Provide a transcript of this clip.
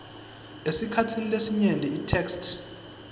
esikhatsini lesinyenti itheksthi